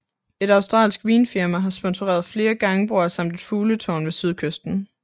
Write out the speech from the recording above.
Et australsk vinfirma har sponsoreret flere gangbroer samt et fugletårn ved sydkysten